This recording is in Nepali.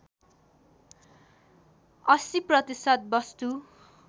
८० प्रतिशत वस्तु